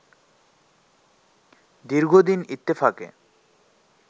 দীর্ঘদিন ইত্তেফাকে